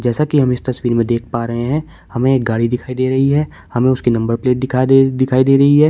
जैसा कि हम इस तस्वीर में देख पा रहे हैं। हमें एक गाड़ी दिखाई दे रही है। हमें उसकी नंबर प्लेट दिखा दिखाई दे दिखाई दे रही है।